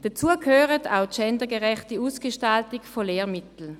Dazu gehört auch eine gendergerechte Ausgestaltung von Lehrmitteln.